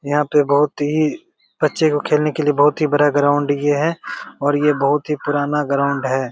यहाँ पे बहुत ही बच्चे को खेलने का बहुत ही बड़ा ग्राउंड ये है और ये बहुत ही पुराना ग्राउंड है।